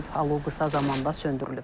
Alov qısa zamanda söndürülüb.